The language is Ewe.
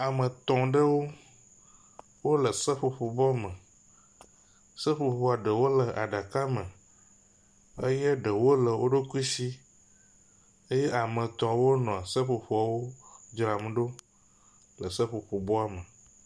Ame tɔ̃ ɖewo wo le seƒoƒo bɔ me. seƒoƒoa ɖewo le aɖaka me eye ɖewo le wo ɖokui si eye ame etɔ̃ wonɔ seƒoƒoawo dzram ɖo le seƒoƒo bɔ me.